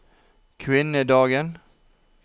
kvinnedagen